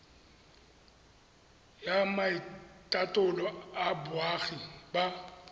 ya maitatolo a boagi ba